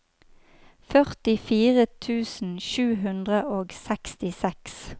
førtifire tusen sju hundre og sekstiseks